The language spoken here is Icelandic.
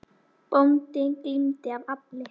Bóndi glímdi af afli.